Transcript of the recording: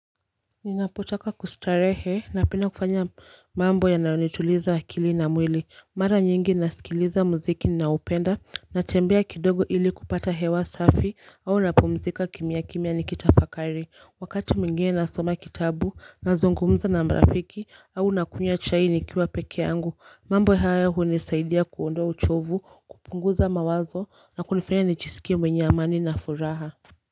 Ninapotaka kustarehe napenda kufanya mambo yanayonituliza akili na mwili mara nyingi nasikiliza muziki ninaopenda natembea kidogo ili kupata hewa safi au napumzika kimyakimya nikitafakari Wakati mwingine nasoma kitabu nazungumza na marafiki au nakunywa chai nikiwa peke yangu mambo haya hunisaidia kuondoa uchovu kupunguza mawazo na kunifanya nijisikie mwenye amani na furaha.